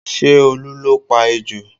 Ṣé Olu ló pa ejò?